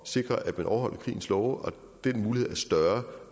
sikre at man overholder krigens love og den mulighed er større